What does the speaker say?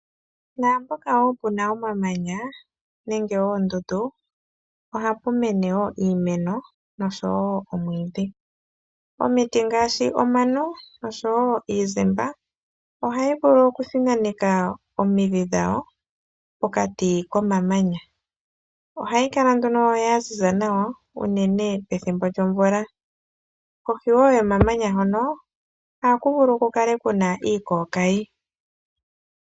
Naampoka wo pu na omamanya nenge oondundu ohapu mene wo iimeno nosho wo omwiidhi. omiti ngaashi omano nosho wo iizimba ohayi vulu okuthinaneka omidhi dhayo pokati komamanya. Ohayi kala nduno ya ziza nawa unene pethimbo lyomvula. Kohi wo yomamanya hono ohaku vulu ku kale ku na iikookayi.